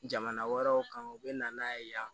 Jamana wɛrɛw kan u bɛ na n'a ye yan